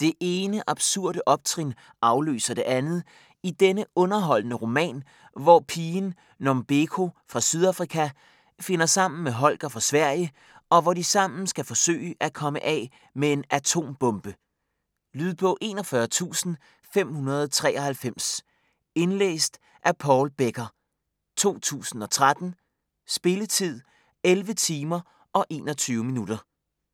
Det ene absurde optrin afløser det andet i denne underholdende roman, hvor pigen Nombeko fra Sydafrika finder sammen med Holger fra Sverige og hvor de sammen skal forsøge at komme af med en atombombe! Lydbog 41593 Indlæst af Paul Becker, 2013. Spilletid: 11 timer, 21 minutter.